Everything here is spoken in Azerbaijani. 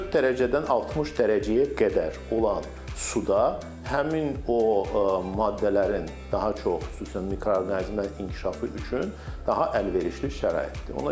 4 dərəcədən 60 dərəcəyə qədər olan suda həmin o maddələrin daha çox xüsusən mikroorqanizmlərin inkişafı üçün daha əlverişli şəraitdir.